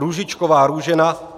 Růžičková Růžena